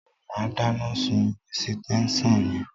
Má dáná sun ẹ̀sítẹ́nsàn yẹn